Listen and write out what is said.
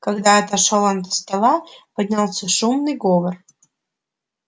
когда отошёл он от стола поднялся шумный говор